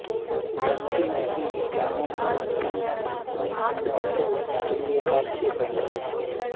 గంతిమర్రి గ్రామంలో అధికంగా జరుపుకునే పండుగలలో తొలి ఏకాదశి రెండవది